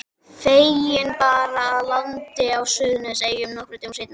Feðginin bar að landi á Suðurnesjum nokkrum dögum seinna.